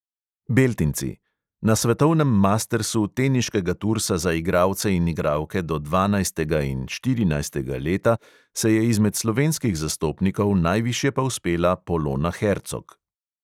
Beltinci: na svetovnem mastersu teniškega tursa za igralce in igralke do dvanajstega in štirinajstega leta se je izmed slovenskih zastopnikov najviše povzpela polona hercog.